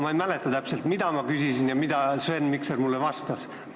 Ma ei mäleta täpselt, mida ma küsisin ja mida Sven Mikser mulle vastas.